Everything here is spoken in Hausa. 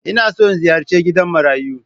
Ina so in ziyarci gidan marayu